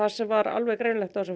sem var alveg greinilegt á þessum